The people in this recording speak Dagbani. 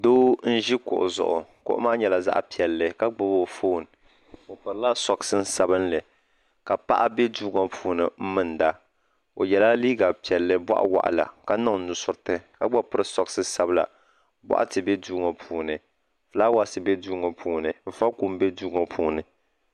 doo. nyɛ kuɣ' zuɣ kuɣ' maa nyɛla zaɣ piɛli ka gbabi anƒɔni o pɛrila suɣisin sabinli ka paɣ bɛ doo ŋɔ puuni mɛlinida o yɛla liga piɛli bɔɣiwaɣ' la ka niŋ nusoritɛ ka pɛri suɣisi sabila bukatɛ bɛ doo ŋɔ puuni ƒɔlawasi bɛ doo ŋɔ puuni vapom bɛ doo ŋɔ puuni